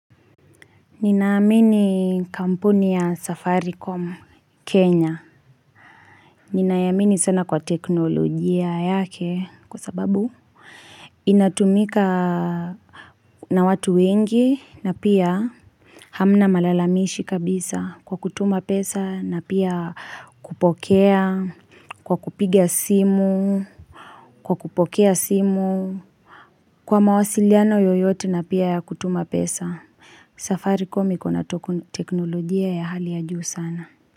Ninaamini kampuni ya safaricom kenya Ninaiamini sana kwa teknolojia yake kwa sababu inatumika na watu wengi na pia Hamna malalamishi kabisa kwa kutuma pesa na pia kupokea Kwa kupiga simu Kwa kupokea simu Kwa mawasiliano yoyote na pia ya kutuma pesa safari kom ikona teknolojia ya hali ya juu sana.